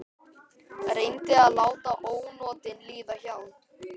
Reyndi að láta ónotin líða hjá.